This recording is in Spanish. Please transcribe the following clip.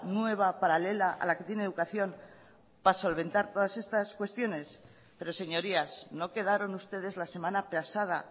nueva paralela a la que tiene educación para solventar todas estas cuestiones pero señorías no quedaron ustedes la semana pasada